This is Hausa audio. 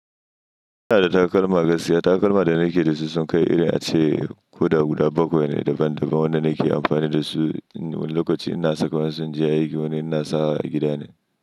Ina da takalma gaskiya. Takalma da nake da su sun kai iri ace ko da guda bakwai ne daban-daban wanda nake amfani da su lokacin ina saka wasu inje aiki wani ina sawa a gida ne.